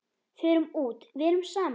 Förum út, verum saman.